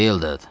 Vildur!